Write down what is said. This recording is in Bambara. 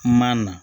Ma na